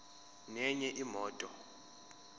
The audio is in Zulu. nenye imoto